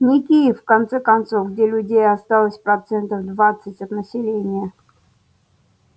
не киев в конце концов где людей осталось процентов двадцать от населения